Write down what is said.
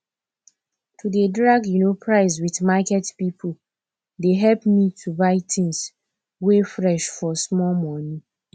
to dey drag um price with market pipo dey help me to buy tins wey fresh for small moni